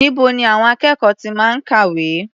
Níbo ni àwọn akẹ́kọ̀ọ́ ti máa ń kàwé?